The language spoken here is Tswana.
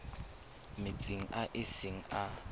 metsing a e seng a